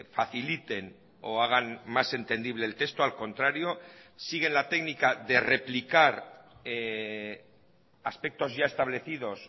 faciliten o hagan más entendible el texto al contrario siguen la técnica de replicar aspectos ya establecidos